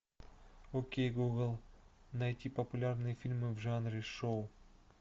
окей гугл найти популярные фильмы в жанре шоу